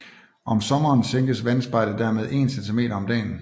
Om sommeren sænkes vandspejlet dermed 1 centimeter om dagen